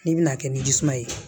N'i bɛna kɛ ni jisuman ye